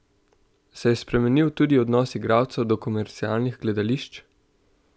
Se je spremenil tudi odnos igralcev do komercialnih gledališč?